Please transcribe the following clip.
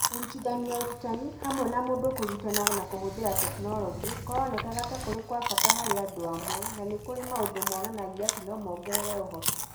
Kũrutithania ũrutani, hamwe na mũndũ kũrutana na kũhũthĩra tekinoronjĩ, kũronekaga ta kũrĩ kwa bata harĩ andũ amwe, na nĩ kũrĩ maũndũ monanagia atĩ no mongerere ũhoti.